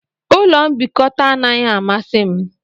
Ụlọ mbikota anaghị amasị m